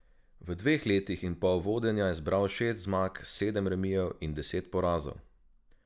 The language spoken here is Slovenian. V dveh letih in pol vodenja je zbral šest zmag, sedem remijev in deset porazov.